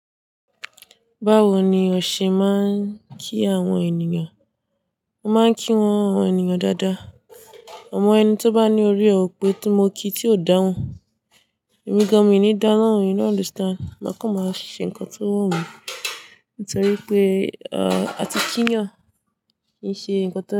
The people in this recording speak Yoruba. Báwo ni ọ̀ṣẹ̀ máa ń kí àwọn ènìyàn? Mo máa ń kí àwọn ènìyàn dáadáa. Ọmọ ẹni tó bá ní orí rẹ̀ ò pé tí mo kí tí ò dáhùn, ẹ̀mí gan-an mi ò ní dá lọhun you know, understand. Máa kọan máa ṣe nǹkan tó wu mí, nítorí pé, àti kínyàn kì í ṣe ǹkan tó dára.